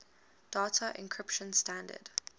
data encryption standard